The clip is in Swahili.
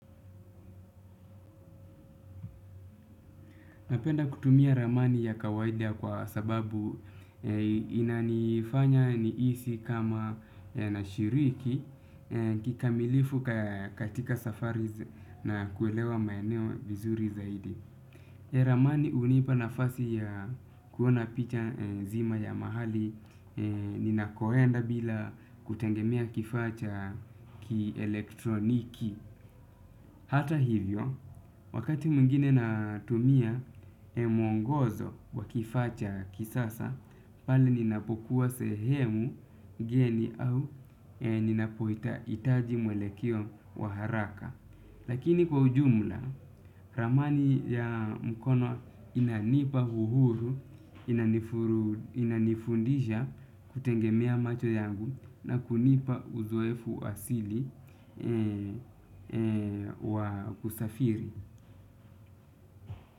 Napenda kutumia ramani ya kawaidia kwa sababu inanifanya nihisi kama na shiriki kikamilifu katika safari na kuelewa maeneo vizuri zaidi. Ramani hunipa nafasi ya kuona picha nzima ya mahali ninakoenda bila kutegemia kifaa cha ki elektroniki. Hata hivyo, wakati mwingine natumia mwongozo wakifaa cha kisasa, pale ninapokuwa sehemu ngeni au ninapo ita hitaji mwelekeo wa haraka. Lakini kwa ujumla, ramani ya mkono inanipa uhuru, inanifundisha kutegemia macho yangu na kunipa uzoefu asili wa kusafiri.